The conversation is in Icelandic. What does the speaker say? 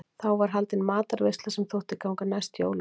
þá var haldin matarveisla sem þótti ganga næst jólunum